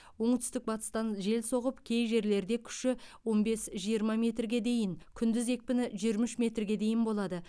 оңтүстік батыстан жел соғып кей жерлерде күші он бес жиырма метрге дейін күндіз екпіні жиырма үш метрге дейін болады